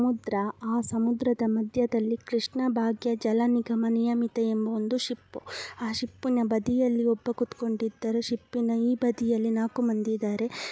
ಸಮುದ್ರ ಆ ಸಮುದ್ರದ ಮಧ್ಯದಲ್ಲಿ ಕೃಷ್ಣ ಭಾಗ್ಯ ಜಲ ನಿಗಮ ನಿಯಮಿತ ಎಂಬ ಒಂದು ಶಿಪ್ . ಆ ಶಿಪ್ನ ಬದಿ ಅಲ್ಲಿ ಒಬ್ಬ ಕುತ್ಕೊಂಡಿದ್ದರು ಶಿಪ್ ನ ಈ ಬದಿಯಲ್ಲಿ ನಾಕು ಮಂದಿ ಇದಾರೆ .]